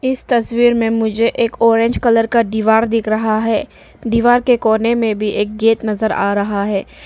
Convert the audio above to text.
इस तस्वीर में मुझे एक ऑरेंज कलर का दीवार दिख रहा है दीवार के कोने में भी एक गेट नजर आ रहा है।